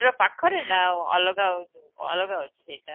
ପାଖରେ ନ ଅଲଗା ଅଲଗା ଅଛି ସେଇଟା